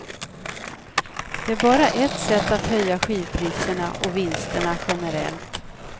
Det är bara ett sätt att höja skivpriserna och vinsterna generellt.